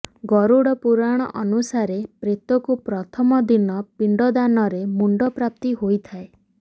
ଗରୁଡ଼ ପୁରାଣ ଅନୁସାରେ ପ୍ରେତକୁ ପ୍ରଥମ ଦିନ ପିଣ୍ଡ ଦାନରେ ମୁଣ୍ଡ ପ୍ରାପ୍ତି ହୋଇଥାଏ